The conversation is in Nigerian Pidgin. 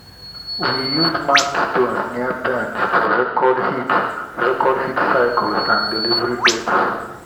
we use marked stones near pens to record heat record heat cycles and delivery dates.